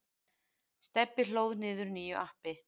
Stebbi hlóð niður nýju appi.